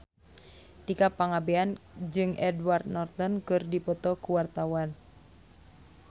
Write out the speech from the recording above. Tika Pangabean jeung Edward Norton keur dipoto ku wartawan